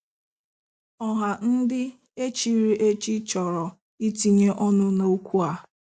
Ọha ndị echiri echi chọrọ itinye ọnụ N'okwụ a.